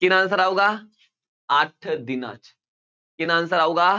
ਕਿੰਨਾ answer ਆਊਗਾ ਅੱਠ ਦਿਨਾਂ 'ਚ ਕਿੰਨਾ answer ਆਊਗਾ